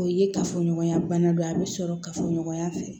O ye kafoɲɔgɔnya bana dɔ ye a bɛ sɔrɔ kafoɲɔgɔnya fɛ